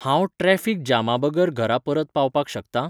हांव ट्राफीक जामाबगर घरा परत पावपाक शकतां?